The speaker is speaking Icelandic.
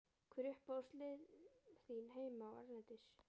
Hver eru uppáhaldslið þín heima og erlendis?